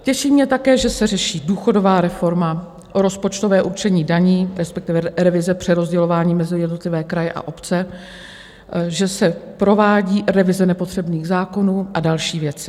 Těší mě také, že se řeší důchodová reforma, rozpočtové určení daní, respektive revize přerozdělování mezi jednotlivé kraje a obce, že se provádí revize nepotřebných zákonů a další věci.